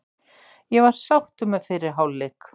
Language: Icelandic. Ég var sáttur með fyrri hálfleik.